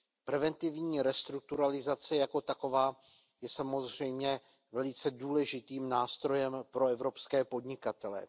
Preventivní restrukturalizace jako taková je samozřejmě velice důležitým nástrojem pro evropské podnikatele.